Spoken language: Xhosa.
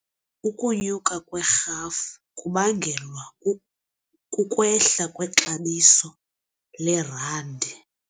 Ukunyuka kwerhafu kubangelwa kukwehla kwexabiso lerandi.